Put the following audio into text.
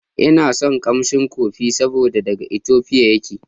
Ina son kamshin kofi saboda daga Ethiopia yake.